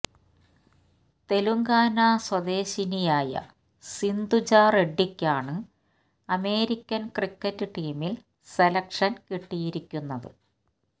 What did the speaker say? തെലങ്കാന സ്വദേശിനിയായ സിന്ധുജ റെഡ്ഡിക്കാണ് അമേരിക്കൻ ക്രിക്കറ്റ് ടീമിൽ സെലക്ഷൻ കിട്ടിയിരിക്കുന്നത്